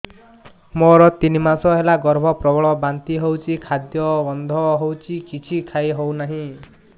ମୋର ତିନି ମାସ ହେଲା ଗର୍ଭ ପ୍ରବଳ ବାନ୍ତି ହଉଚି ଖାଦ୍ୟ ଗନ୍ଧ ହଉଚି କିଛି ଖାଇ ହଉନାହିଁ